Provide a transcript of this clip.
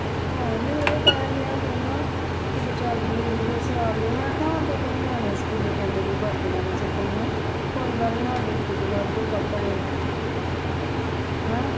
ਆਹੋ ਮੈਨੂੰ ਤਾ ਆਵੇ ਡੇ ਕਹਿੰਦਾ ਕਿਤੇ ਚੱਲਦੀ ਲੈ ਲਈਏ ਸਿਆਲ ਲਈ ਮੈਂ ਕਿਹਾ ਆਂਡੇ ਕਿਹੜਾ ਨਿਆਣੇ ਸੁਕੂਲੇ ਜਾਂਦੇ ਨੇ ਕੇ ਵਰਦੀਆਂ ਨਹੀਂ ਰੱਖਣੀਆਂ ਕੋਈ ਗੱਲ ਨਹੀਂ ਆਂਡੇ ਕਿੱਤੇ ਵਾਦੁ ਕੱਪੜੇ ਆ ਹੇਹ